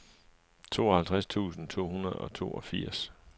tooghalvtreds tusind to hundrede og toogfirs